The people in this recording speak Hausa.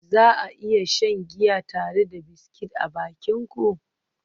Za a iya shan giya tare da biscuit a bakin ku?